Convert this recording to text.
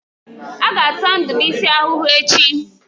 A ga-ata ndibuisi ahụhụ echi.